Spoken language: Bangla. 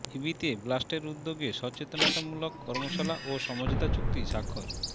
ইবিতে ব্লাস্টের উদ্যোগে সচেতনতামূলক কর্মশালা ও সমঝোতা চুক্তি স্বাক্ষর